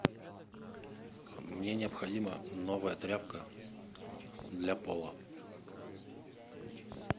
мне необходима новая тряпка для пола